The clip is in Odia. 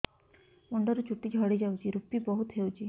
ମୁଣ୍ଡରୁ ଚୁଟି ଝଡି ଯାଉଛି ଋପି ବହୁତ ହେଉଛି